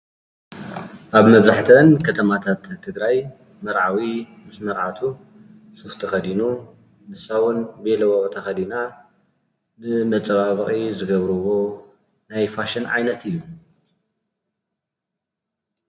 ኣብ መብዛሕትአን ከተማታት ትግራይ መርዓዊ ምስ መርዓቱ ሱፍ ተኸዲኑ ንሳ እውን ቤሎ ተኸዲና ንመፀባበቒ ዝገብርዎ ናይ ፋሽን ዓይነት እዩ።